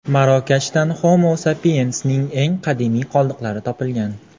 Marokashdan Homo Sapiens’ning eng qadimiy qoldiqlari topilgan.